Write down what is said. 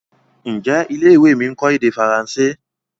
Njé ilé-ìwé mí nkọ èdè Faransé?